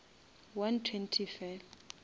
one twenty fela